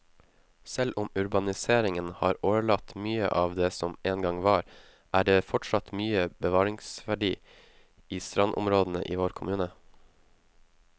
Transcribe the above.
Selv om urbaniseringen har årelatt mye av det som en gang var, er det fortsatt mye bevaringsverdig i strandområdene i vår kommune.